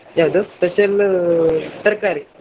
ಯಾವ್ದು? Special ತರ್ಕಾರಿ.